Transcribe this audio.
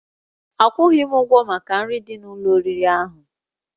Akwụghị m ụgwọ maka nri dị n'ụlọ oriri ahụ